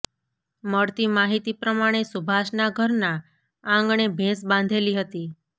મળતી માહિતી પ્રમાણે સુભાષના ઘરના આંગણે ભેંસ બાંધેલી હતી